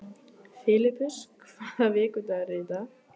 Filippus, hvaða vikudagur er í dag?